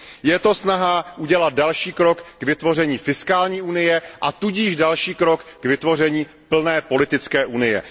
Je to snaha udělat další krok k vytvoření fiskální unie a tudíž další krok k vytvoření plné politické unie.